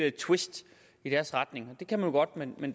et twist i deres retning det kan man jo godt men